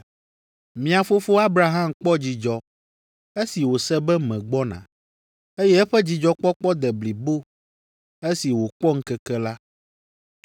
Mia fofo Abraham kpɔ dzidzɔ esi wòse be megbɔna, eye eƒe dzidzɔkpɔkpɔ de blibo esi wòkpɔ ŋkeke la.”